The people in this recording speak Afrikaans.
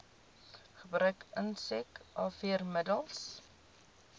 gebruik insek afweermiddels